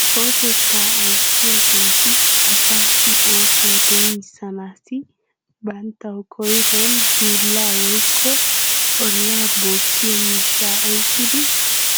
kawotettaa ayssiyageeti asaassi oosuwaa doomissanaassi banttawu koyruwan dullaa woykko ollaa bookiyo miishshaa oyqqidi